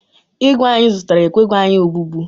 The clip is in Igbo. ígwè anyị zụtara ekweghi anyị obubu